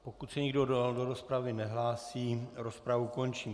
Pokud se nikdo do rozpravy nehlásí, rozpravu končím.